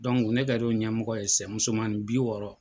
ne kɛr'o ɲɛmɔgɔ ye musomannin bi wɔɔrɔ.